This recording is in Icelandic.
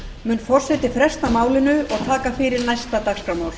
mun forseti fresta málinu og taka fyrir næsta dagskrármál